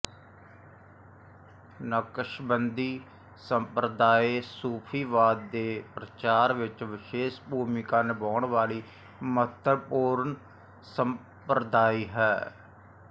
ਨਕਸ਼ਬੰਦੀ ਸੰਪਰਦਾਇ ਸੂਫ਼ੀਵਾਦ ਦੇ ਪ੍ਰਚਾਰ ਵਿੱਚ ਵਿਸ਼ੇਸ਼ ਭੂਮਿਕਾ ਨਿਭਾਉਣ ਵਾਲੀ ਮਹੱਤਵਪੂਰਨ ਸੰਪਰਦਾਇ ਹੈ